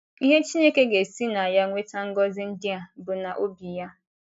Ihe Chineke ga - esi na ya weta ngọzi ndị a bụ na obi ya.